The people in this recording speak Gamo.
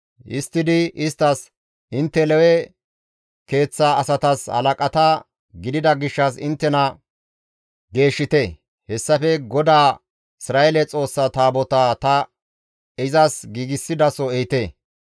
Histtidi isttas, «Intte Lewe keeththa asatas halaqata gidida gishshas inttena geeshshite; hessafe GODAA Isra7eele Xoossa Taabotaa ta izas giigsidaso ehite.